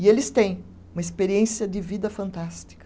E eles têm uma experiência de vida fantástica.